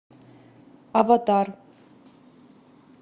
аватар